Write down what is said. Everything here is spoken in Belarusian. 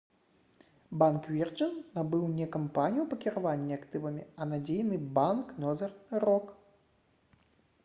банк «вірджын» набыў не кампанію па кіраванні актывамі а надзейны банк «нозэрн рок»